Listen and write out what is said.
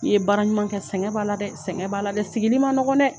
I ye baara ɲuman kɛ, sɛgɛn b'a la dɛ, sɛgɛn b'a la dɛ, sigili ma nɔgɔn dɛ.